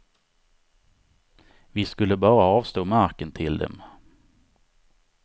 Vi skulle bara avstå marken till dem.